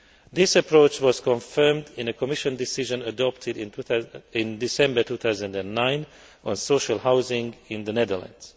This approach was confirmed in a Commission decision adopted in December 2009 on social housing in the Netherlands.